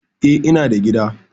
Eh, ina da gida.